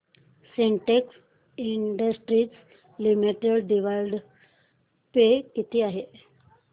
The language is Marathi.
Sintex industries limited dividend pay किती आहे